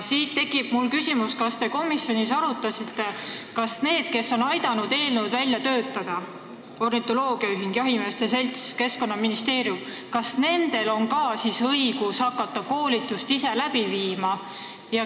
Siit tekib mul küsimus, kas te komisjonis arutasite, kas nendel, kes on aidanud eelnõu välja töötada – ornitoloogiaühing, jahimeeste selts, Keskkonnaministeerium –, on siis ka õigus hakata ise koolitust läbi viima.